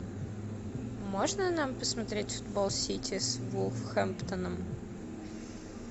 можно нам посмотреть футбол сити с вулверхэмптоном